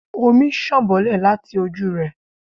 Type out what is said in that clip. omí sán bolè latí ojú re